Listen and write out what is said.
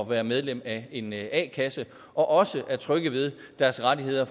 være medlem af en a kasse og også er trygge ved deres rettigheder